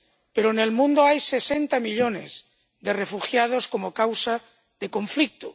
Pero en el mundo hay sesenta millones de refugiados como causa de conflicto.